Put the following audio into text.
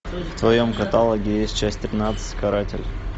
в твоем каталоге есть часть тринадцать каратель